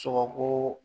Sogo